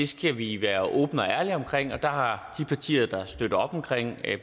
skal vi være åbne og ærlige omkring og der har de partier der støtter op omkring